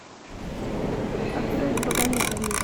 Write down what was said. открой с богами два мира